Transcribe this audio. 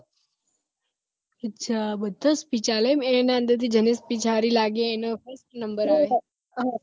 અચ્છા બધા speech આપે એના અંદરથી જેની speech સારી લાગે number આપે